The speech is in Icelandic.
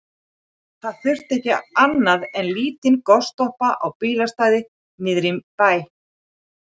Það þurfti ekki annað en lítinn gostappa á bílastæði niðri í bæ.